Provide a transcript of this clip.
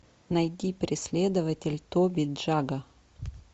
найди преследователь тоби джагга